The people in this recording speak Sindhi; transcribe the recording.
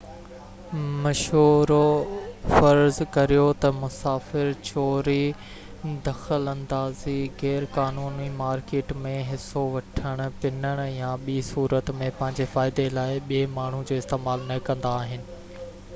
مشورو فرض ڪريو تہ مسافر چوري دخل اندازي غيرقانوني مارڪيٽ ۾ حصو وٺڻ پنڻ يا ٻي صورت ۾ پنهنجي فائدي لاءِ ٻي ماڻهو جو استعمال نہ ڪندا آهن